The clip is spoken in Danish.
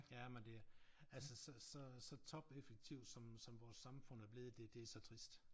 Jamen det er altså så så så topeffektivt som som vores samfund er blevet det det så trist